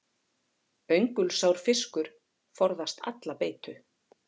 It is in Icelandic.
Öngulsár fiskur forðast alla beitu.